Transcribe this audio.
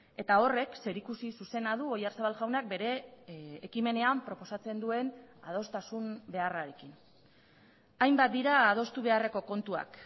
eta horrek zerikusi zuzena du oyarzabal jaunak bere ekimenean proposatzen duen adostasun beharrarekin hainbat dira adostu beharreko kontuak